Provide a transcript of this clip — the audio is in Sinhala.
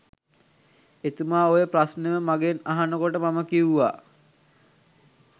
එතුමා ඔය ප්‍රශ්නයම මගෙන් අහන කොට මම කිව්වා